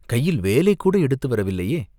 கையில் வேலைக்கூட எடுத்து வரவில்லையே?